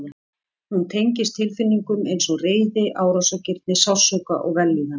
Hún tengist tilfinningum eins og reiði, árásargirni, sársauka og vellíðan.